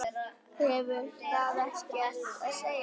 Hefur það ekkert að segja?